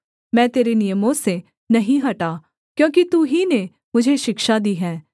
मैं तेरे नियमों से नहीं हटा क्योंकि तू ही ने मुझे शिक्षा दी है